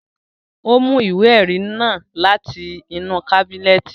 Ó mú ìwé ẹrí náà láti inú kábínẹ̀tì